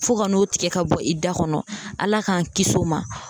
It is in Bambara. Fo ka n'o tigɛ ka bɔ i da kɔnɔ ala k'an kisi o ma